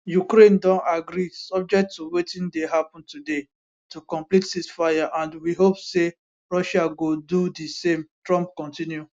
ukraine don agree subject to wetin dey happun today to complete ceasefire and we hope say russia go do di same trump continue